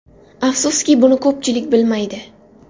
Afsuski, buni ko‘pchilik bilmaydi.